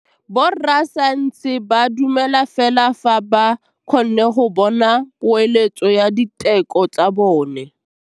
Borra saense ba dumela fela fa ba kgonne go bona poeletsô ya diteko tsa bone.